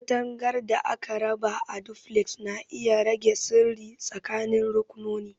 Katangar da aka raba a Duplex na iya rage sirri tsakanin rakunoni.